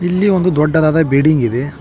ಇಲ್ಲಿ ಒಂದು ದೊಡ್ಡದಾದ ಬಿಲ್ಡಿಂಗ್ ಇದೆ.